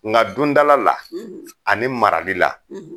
Nga dondala la , ani marali la